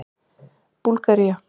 Búlgaría